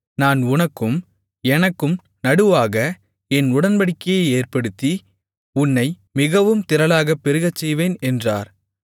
நான் உனக்கும் எனக்கும் நடுவாக என் உடன்படிக்கையை ஏற்படுத்தி உன்னை மிகவும் திரளாகப் பெருகச்செய்வேன் என்றார்